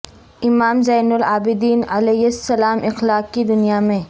امام زین العابدین علیہ السلام اخلاق کی دنیا میں